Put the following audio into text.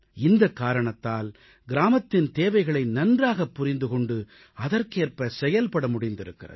இந்தக் காரணத்தால் கிராமத்தின் தேவைகளை நன்றாகப் புரிந்து கொண்டு அதற்கேற்ப செயல்பட முடிந்திருக்கிறது